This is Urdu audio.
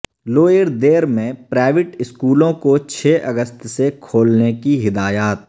لوئر دیر میں پرائیویٹ سکولوں کو چھ اگست سے کھولنے کی ہدایات